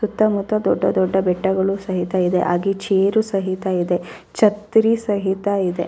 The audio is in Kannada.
ಸುತ್ತ ಮುತ್ತ ದೊಡ್ಡ ದೊಡ್ಡ ಬೆಟ್ಟಗಳು ಸಹಿತ ಇದೆ ಹಾಗೆ ಚೇರ್ ಸಹಿತ ಇದೆ ಛತ್ರಿ ಸಹಿತ ಇದೆ.